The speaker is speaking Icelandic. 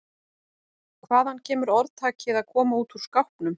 Hvaðan kemur orðtakið að koma út úr skápnum?